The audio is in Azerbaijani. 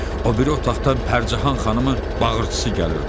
O biri otaqdan Pərcəhan xanımın bağırtısı gəlirdi.